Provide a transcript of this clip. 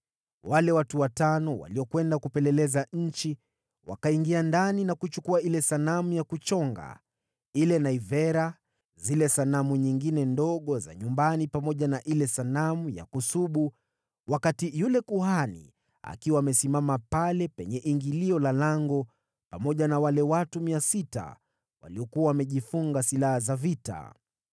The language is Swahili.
Wale watu watano waliokwenda kupeleleza nchi wakaingia ndani na kuchukua ile sanamu ya kuchonga, ile naivera, na zile sanamu nyingine ndogo za nyumbani pamoja na ile sanamu ya kusubu, wakati yule kuhani akiwa amesimama pale penye ingilio la lango pamoja na wale watu 600 waliokuwa wamejifunga silaha za vita.